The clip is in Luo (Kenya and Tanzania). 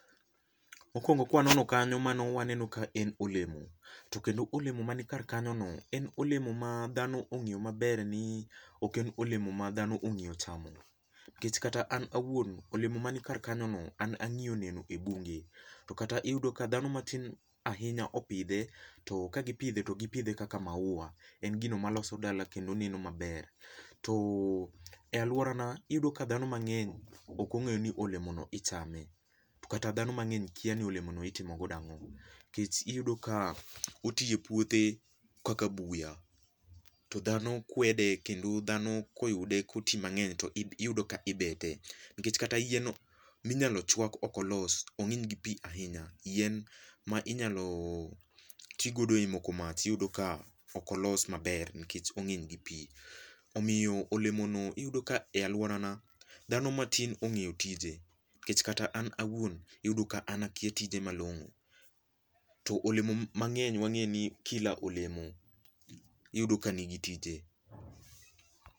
Mokuongo ka wanono kanyo mano waneno ka en olemo, to kendo ka olemo man kar kanyo no en olemo ma dhano ong'eyo maber ni ok elemo ma dhano ong'iyo chamo, nikech kata an awuon olemo man kar kanyo no an ang'iyo neno e bunge. to kata iyudo ka dhano matin ahinya opidhe, to ka gipidhe to gipidhe kaka maua. En gino maloso dala kendo neno maber. To e alworana, iyudo ka dhano mang'eny ok ong'eyo ni olemono ichame, to kata dhano mang'eny okia ni olemono itimo godo ang'o. Nikech iyudo ka oti e puothe kaka buya to dhano kwede kendo dhano koyude koti mang'eny to ibe to iyudo ka ibete, nikech kata yien minyalo chwak okolos, ong'eny gi pi ahinya. Yien ma inyalo ti godo e moko mach iyudo ka ok olos maber nikech ong'eny gi pi. Omiyo olemono iyudo ka alworana dhano matin ong'eyo tije, nikech kata an awuon iyudo ka akia tije malong'o. To olemo mang'eny wang'eni kila olemo iyudo ka ni gi tije.